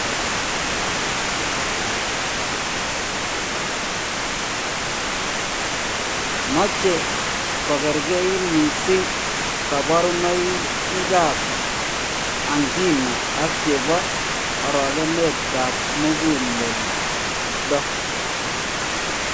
Moche kokerkei mising kaborunoikab angina ak chebo arogenetab muguleldo